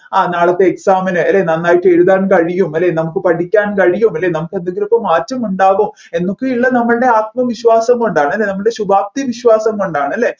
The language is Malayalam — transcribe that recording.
ആ നാളത്തെ exam ന് അല്ലെ നന്നായിട്ട് എഴുതാൻ കഴിയും അല്ലെ നമ്മുക്ക് പഠിക്കാൻ കഴിയും അല്ലെ നമ്മുക് എന്തെങ്കിലുമൊക്കെ മാറ്റം ഉണ്ടാക്കും എന്നൊക്കെ ഉള്ള നമ്മൾടെ ആത്മവിശ്വാസം കൊണ്ടാണ് അല്ലെ നമ്മൾടെ ശുഭാപ്തി വിശ്വാസം കൊണ്ടാണ് അല്ലെ